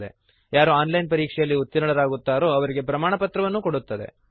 ಹಾಗೂ online ಪರೀಕ್ಷೆಯಲ್ಲಿ ಉತ್ತೀರ್ಣರಾದವರಿಗೆ ಪ್ರಮಾಣಪತ್ರವನ್ನು ಕೊಡುತ್ತದೆ